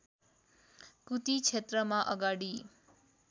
कुती क्षेत्रमा अगाडि